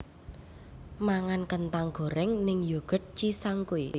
Mangan kentang goreng ning Yoghurt Cisangkuy